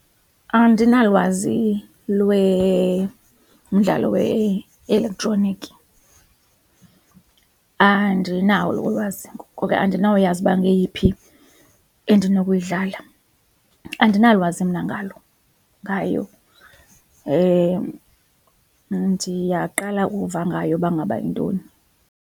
Andinalwazi lwemdlalo we-elektroniki, andinalo ulwazi ngoko ke andinawuyazi uba ngeyiphi endinokuyidlala andinalwazi mna ngalo, ngayo ndiyaqala uva ngayo uba ngaba yintoni.